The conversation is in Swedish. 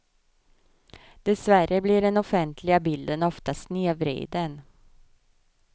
Dessvärre blir den offentliga bilden ofta snedvriden.